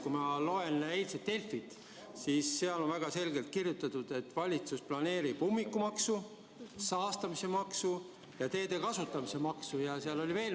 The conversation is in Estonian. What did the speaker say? Kui ma loen eilset Delfit, siis näen, et seal on väga selgelt kirjutatud, et valitsus planeerib ummikumaksu, saastamise maksu ja teede kasutamise maksu, mõni asi oli veel.